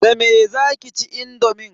Da me zaki ci indomin?